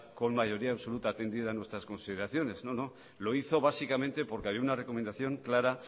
con mayoría absoluta atendiera a nuestras consideraciones no no lo hizo básicamente porque había una recomendación clara